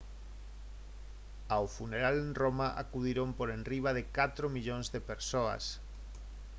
ao funeral en roma acudiron por enriba de catro millóns de persoas